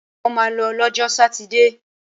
Mo ma lọ lọ́jọ́ sátidé!